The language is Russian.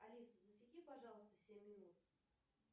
алиса засеки пожалуйста семь минут